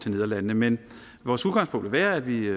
nederlandene men vores udgangspunkt vil være at vi